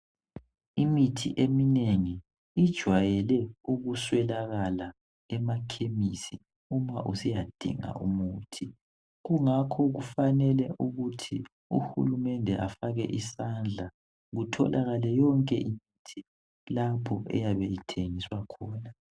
Imithi eminengi ijayele ukuswelakala emachemistry uma usiyasinda umuthi kungakho kufanele ukuthi uhulumende afake isandla kutholakale imithi lapha eyabe ithengiswa khona